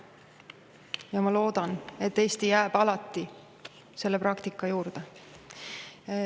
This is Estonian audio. Ja ma loodan, et Eesti jääb alati selle praktika juurde.